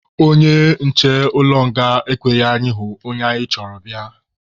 Onye nche ụlọ nga ekweghị anyị hụ onye anyị chọrọ bịa.